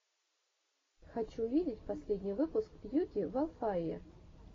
хочу увидеть последний выпуск юки волфае